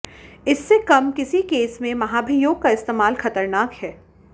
इससे कम किसी केस में महाभियोग का इस्तेमाल खतरनाक है